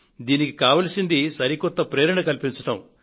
దీనికి కావలసింది సరికొత్త ప్రేరణ కల్పించడం